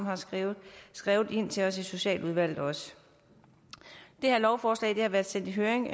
har skrevet skrevet ind til os i socialudvalget det her lovforslag har været sendt i høring